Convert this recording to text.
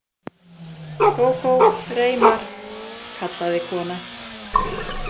Kókó, Reimar, kallaði konan.